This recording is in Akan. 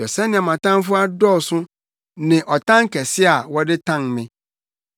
Hwɛ sɛnea mʼatamfo adɔɔso ne ɔtan kɛse a wɔde tan me!